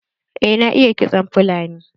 Eh na iya kitson fulani.